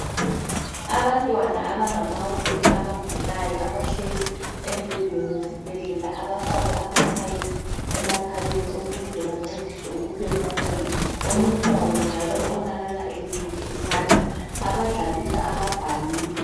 Abantwana abangamawele abagulayo abahlezi embhedeni wesibhedlela abafakwe amapipe emakhaleni ukuze bancediswe ukuphefumula. Omunye wabo njalo ubonakala elimele isandla abadlalisa amabhaluni.